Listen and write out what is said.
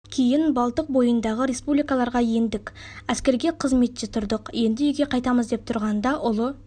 кейін балтық бойындағы республикаларға ендік әскерге қызметте тұрдық енді үйге қайтамыз деп тұрғанда ұлы